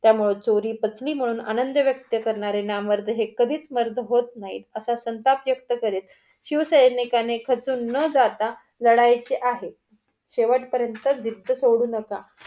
त्यामुळं चोरी पचली म्हणून आनंद व्यक्त करणारे नामर्द हे कधीच मर्द होत नाही असा संताप व्यक्त करीत शिवसैनिकांनी खचून न जाता लढायचे आहे. शेवट पर्यंत जिद्ध सोडू नका.